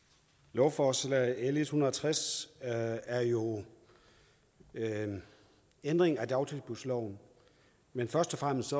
lovforslag l en hundrede og tres er er jo en ændring af dagtilbudsloven men først og fremmest